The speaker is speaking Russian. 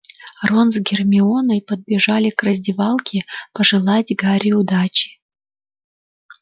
рон с гермионой подбежали к раздевалке пожелать гарри удачи